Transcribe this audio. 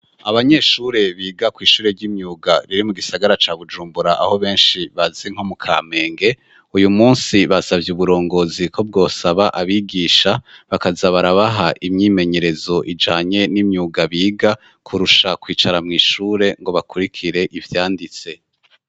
Abanyeshure biga ku ishure ry'imyuga riri mu gisagara ca Bujumbura aho benshi bazi nko mu kamenge uyu munsi basabye uburongozi ko bwosaba abigisha bakaza barabaha imyimenyerezo ijanye n'imyuga biga kurusha kwicara mu ishure ngo bakurikire ivyanditse.